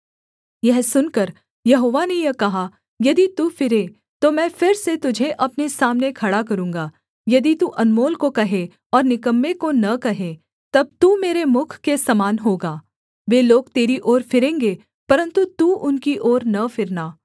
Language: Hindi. यह सुनकर यहोवा ने यह कहा यदि तू फिरे तो मैं फिर से तुझे अपने सामने खड़ा करूँगा यदि तू अनमोल को कहे और निकम्मे को न कहे तब तू मेरे मुख के समान होगा वे लोग तेरी ओर फिरेंगे परन्तु तू उनकी ओर न फिरना